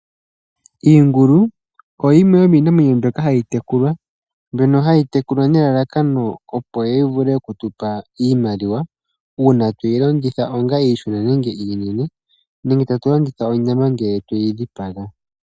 Iingulu oyo yimwe yomiinamwenyo mbyoka hayi tekulwa, mbyono hayi tekulwa nelalakano opo yi vule oku tupa iimaliwa, uuna tweyi landitha onga iishona nenge iinene, nenge tatu yi landitha onyama ngele tweyi dhipaga.